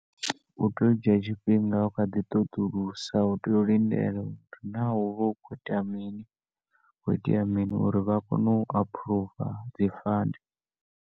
U tea u dzhia tshifhinga u kha ḓi ṱoḓulusa, u tea u lindela uri naa hu vha hu khou itea mini, ho itea mini uri vha kone u aphuruva dzi fund.